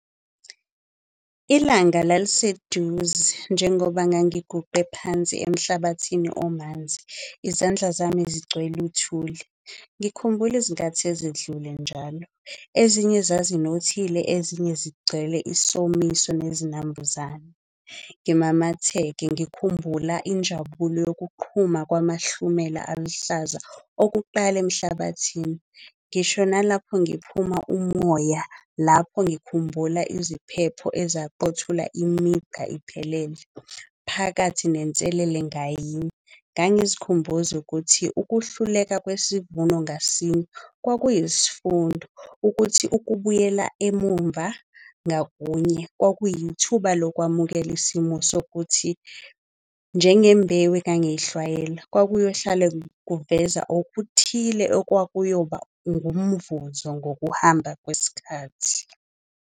Ilanga laliseduze njengoba ngangiguqe phansi emhlabathini omanzi, izandla zami zigcwele uthuli. Ngikhumbuli izinkathi ezedlule njalo, ezinye zazinothile, ezinye zigcwele isomiso nezinambuzane. Ngimamatheke ngikhumbula injabulo yokuqhuba kwamahlumela aluhlaza okuqala emhlabathini. Ngisho nalapho ngiphuma umoya lapho ngikhumbula iziphepho ezaqothula imigqa iphelele. Phakathi nenselele ngayinye, ngangizikhumbuza ukuthi ukuhluleka kwesivuno ngasinye kwakuyisifundo, ukuthi ukubuyela emumva ngakunye kwakuyithuba lokwamukela isimo sokuthi, njenge mbewu engangiyihlwayela kwakuyohlala kuveza okuthile okwakuyoba ngumvuzo ngokuhamba kwesikhathi.